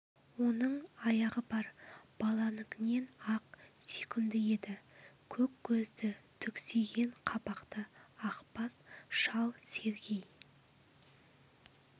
оның аяғы бар баланікінен ақ сүйкімді еді көк көзді түксиген қабақты ақбас шал сергей